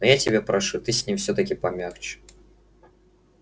но я тебя прошу ты с ним всё-таки помягче